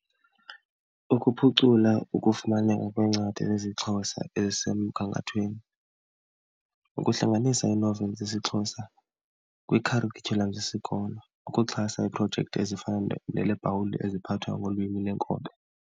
Ukuphucula ukufumaneka kweencwadi zesiXhosa ezisemgangathweni, ukuhlanganisa ii-novels zesiXhosa kwiikharityhulam zesikolo, ukuxhasa iiprojekthi ezifana eziphathwa ngolwimi lenkobe.